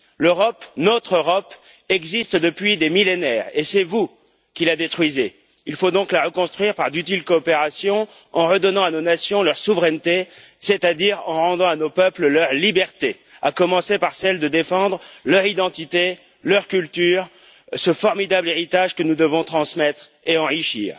L'Europe, notre Europe existe depuis des millénaires, et c'est vous qui la détruisez. Il faut donc la reconstruire par d'utiles coopérations, en redonnant à nos nations leur souveraineté, c'est à dire en rendant à nos peuples leur liberté, à commencer par celle de défendre leur identité, leur culture, ce formidable héritage que nous devons transmettre et enrichir.